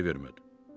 Heç ay vermədi.